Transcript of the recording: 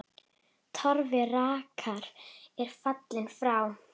Torfi rakari er fallinn frá.